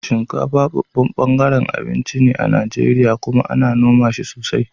Shinkafa babban ɓangaren abinci ne a Najeriya kuma ana noma shi sosai.